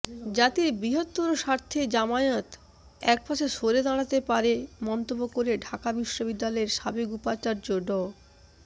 জাতির বৃহত্তর স্বার্থে জামায়াত একপাশে সরে দাঁড়াতে পারে মন্তব্য করে ঢাকা বিশ্ববিদ্যালয়ের সাবেক উপাচার্য ড